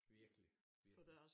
Virkelig virkelig